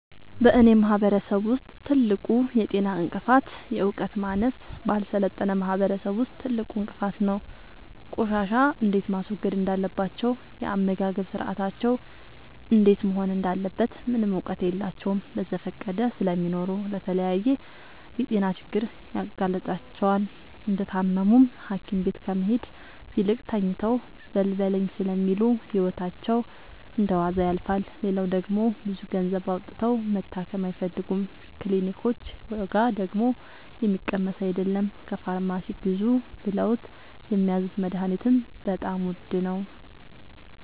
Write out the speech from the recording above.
በእኔ ማህበረሰብ ውስጥ ትልቁ የጤና እንቅፍት የዕውቀት ማነስ በአልሰለጠነ ማህበረሰብ ውስጥ ትልቁ እንቅፋት ነው። ቆሻሻ እንዴት ማስወገድ እንዳለባቸው የአመጋገብ ስርአታቸው እንዴት መሆን እንዳለበት ምንም እውቀት የላቸውም በዘፈቀደ ስለሚኖሩ ለተለያየ የጤና ችግር ይጋረጥባቸዋል። እንደታመሙም ሀኪቤት ከመሄድ ይልቅ ተኝተው በልበለኝ ስለሚሉ ህይወታቸው እንደዋዛ ያልፋል። ሌላው ደግሞ ብዙ ገንዘብ አውጥተው መታከም አይፈልጉም ክኒልኮች ዋጋደግሞ የሚቀመስ አይለም። ከፋርማሲ ግዙ ብለውት የሚያዙት መደሀኒትም በጣም ውድ ነው።